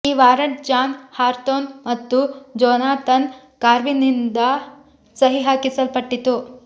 ಈ warrant John Hathorne ಮತ್ತು Jonathan ಕಾರ್ವಿನ್ರಿಂದ ಸಹಿ ಹಾಕಲ್ಪಟ್ಟಿತು